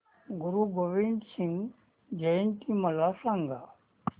गुरु गोविंद सिंग जयंती मला सांगा